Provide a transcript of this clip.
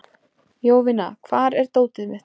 Jovina, hvar er dótið mitt?